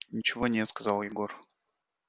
ничего нет сказал егор